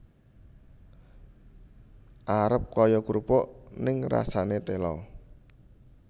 Arep kaya krupuk ning rasane tela